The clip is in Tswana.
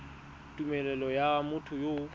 tumelelo ya motho yo o